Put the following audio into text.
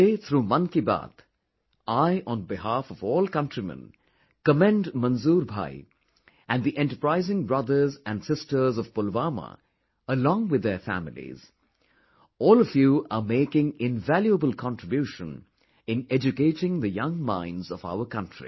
Today, through Mann Ki Baat, I, on behalf of all countrymen commend Manzoor bhai and the enterprising brothers and sisters of Pulwama along with their families All of you are making invaluable contribution in educating the young minds of our country